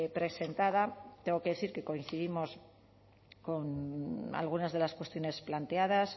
presentada tengo que decir que coincidimos con algunas de las cuestiones planteadas